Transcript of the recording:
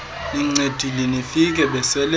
nincedile nifike besele